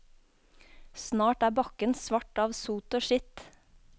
Snart er bakken svart av sot og skitt.